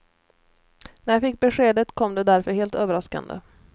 När jag fick beskedet kom det därför helt överraskande.